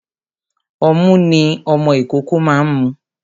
Ọmu ni ọmọ ìkókó ma ń mu.